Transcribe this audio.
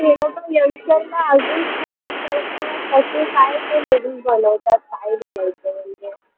हे लोकं youngster ना अजून खराब करतात काय ते बघून बोलवतात काय बोलवतात